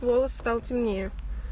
волос стал темнее